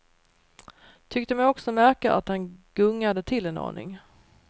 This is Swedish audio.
Tyckte mig också märka att han gungade till en aning.